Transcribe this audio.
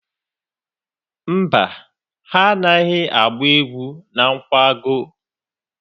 Mba, ha anaghị agba egwu na nkwago.